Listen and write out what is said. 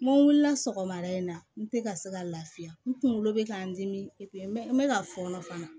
N ko wulila sɔgɔmada in na n tɛ ka se ka lafiya n kunkolo bɛ ka n dimi n bɛ n bɛ ka fɔɔnɔ